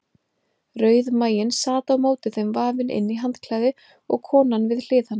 Rauðmaginn sat á móti þeim vafinn inn í handklæði og konan við hlið hans.